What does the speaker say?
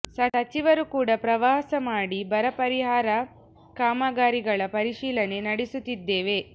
ಸಚಿವರು ಕೂಡ ಪ್ರವಾಸ ಮಾಡಿ ಬರ ಪರಿಹಾರ ಕಾಮಗಾರಿಗಳ ಪರಿಶೀಲನೆ ನಡೆಸುತ್ತಿದ್ದೇವೆ